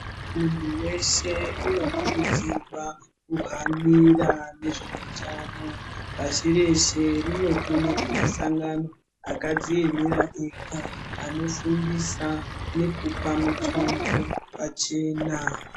Muntu weshe unokurudzirwa juhanira nezveutano pashi reshe rinotumire masangani akadziemera ega anofundisa nekupa mutombo pachena.